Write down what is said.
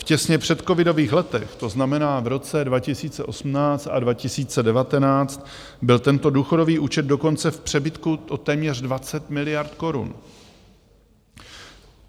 V těsně předcovidových letech, to znamená v roce 2018 a 2019, byl tento důchodový účet dokonce v přebytku o téměř 20 miliard korun.